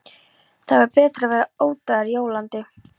Þá er betra að vera ódauður í ólandi.